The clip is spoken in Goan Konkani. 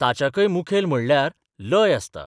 ताच्याकय मुखेल म्हणल्यार लय आसता.